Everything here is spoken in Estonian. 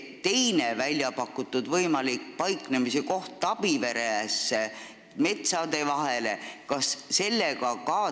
Kas arutatakse põhjalikumalt ka teise võimaliku paiknemiskoha üle Tabiveres metsade vahel?